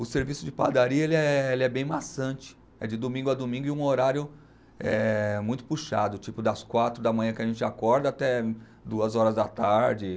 O serviço de padaria ele é, ele é bem maçante, é de domingo a domingo e um horário eh muito puxado, tipo das quatro da manhã que a gente acorda até duas horas da tarde.